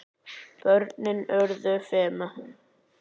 Börnin urðu fimm.